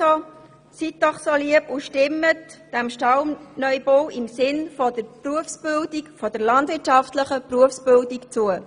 Also seien Sie so gut und stimmen Sie diesem Kredit im Interesse der landwirtschaftlichen Berufsbildung zu.